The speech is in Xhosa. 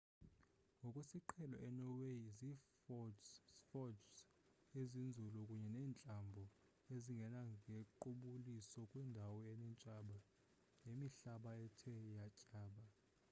ngokwesiqhelo enorway zi-fjords ezinzulu kunye neentlambo ezingena ngequbuliso kwindawo eneentaba nemihlaba ethe tyaba